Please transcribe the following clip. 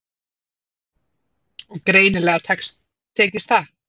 Og greinilega tekist það.